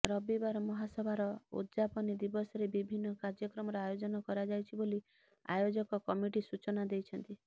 ରବିବାର ମହାସଭାର ଉଦଜାପନୀ ଦିବସରେ ବିଭିନ୍ନ କାର୍ଯ୍ୟକ୍ରମର ଆୟୋଜନ କରାଯାଇଛି ବୋଲି ଆୟୋଜକ କମିଟି ସୂଚନା ଦେଇଛନ୍ତି